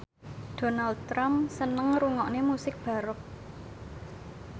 Donald Trump seneng ngrungokne musik baroque